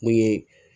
Mun ye